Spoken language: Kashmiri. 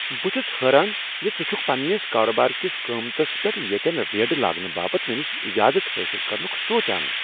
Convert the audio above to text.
بہٕ چُھس حٲران زِ ژٕ چھکھ پنٛنس کارٕبار کس قیمتس پیٹھ ییٚتین ریڈٕ لاگنہٕ باپتھ مےٚ نش اجازت حٲصل کرنُک سوچان!